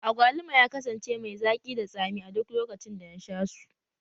Agwaluma ya kasance mai zaki da tsami a duk lokacin da na sha su